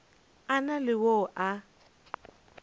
a na le yo a